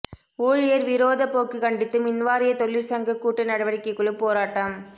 ஊழியர் விரோத போக்கு கண்டித்து மின்வாரிய தொழிற் சங்க கூட்டு நடவடிக்கைக்குழு போராட்டம்